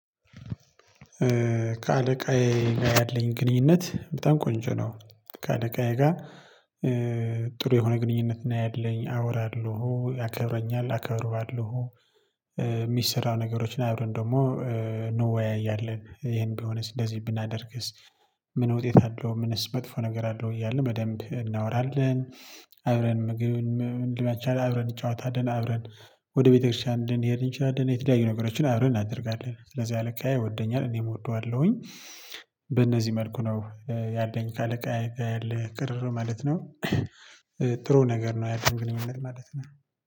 ከአለቃዬ ጋር ያለኝ ግንኙነት በጣም ቆንጆ ነው። ከአቃጋዬ ጋር ጥሩ የሆነ ግንኙነት ነው ያለኝ አወራለሁ ያከብረኛል አከብረዋለሁ የሚሰራ ነገሮችን አብረን ደግሞ እንወያያለን ይሄን ቢሆንስ እንደዚህ ብናደርግስ ምን ውጤት አለው ምንስ መጥፎ ነገር አለው እያልን በደንብ እናወራለን፣ አብረን ምግብ ልንበላ እንችላለን፣ አብረን ይጫወታልን፣ አብረን ወደ ቤተክርስቲያን እንድንሄድ እንችላለን፣ የተለያዩ ነገሮችን አብረን እናደርጋለን ስለዚህ አለቃዬ ይወደኛል እኔም እወደዋለሁኝ በእነዚህ መልኩ ነው ያለኝ ካለቃ ያለ ቅርር ማለት ነው። ጥሩ ነገር ነው ያለን ግንኙነት ማለት ነው።